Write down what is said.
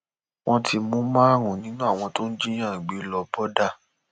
wọn ti mú márùnún nínú àwọn tó ń jiyàn gbé lọbọdà